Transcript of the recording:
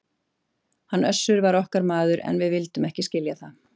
Hann Össur var okkar maður, en við vildum ekki skilja það!